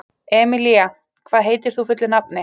Emelía, hvað heitir þú fullu nafni?